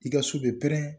I ka so bɛ pɛrɛn